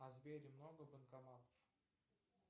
а в сбере много банкоматов